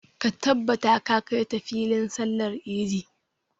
Ka tabbata ka kai ta filin sallar idi!